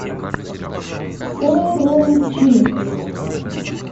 урумчи